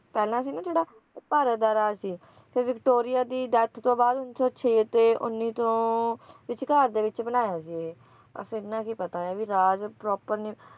ਪਹਿਲਾਂ ਸੀ ਨਾ ਜਿਹੜਾ ਭਾਰਤ ਦਾ ਰਾਜ ਸੀ ਫਿਰ ਵਿਕਟੋਰੀਆ ਦੀ death ਤੋਂ ਬਾਅਦ ਉਂਨੀ ਸੌ ਛੇ ਤੇ ਉੱਨੀ ਸੌ ਦੇ ਵਿਚਕਾਰ ਵਿਚ ਬਣਾਇਆ ਸੀ ਬੱਸ ਐਨਾ ਕ ਹੀ ਪਤਾ ਹੈ ਵੀ ਰਾਜ proper ਨਹੀਂ